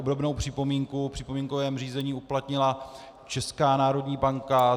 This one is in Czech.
Obdobnou připomínku v připomínkovém řízení uplatnila Česká národní banka.